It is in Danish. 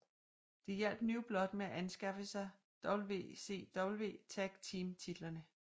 De hjalp New Blood med at anskaffe sig WCW Tag Team titlerne